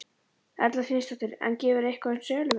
Erla Hlynsdóttir: En gefurðu eitthvað upp um söluverð?